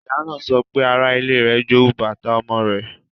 Ìyá náà sọ pé ara-ile rẹ̀ jowu bàtà ọmọ rẹ̀.